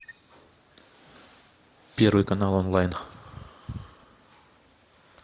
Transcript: первый канал онлайн